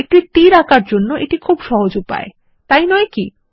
একটি তীর আঁকার জন্য এটা একটি সহজ উপায় তাই নয় কি160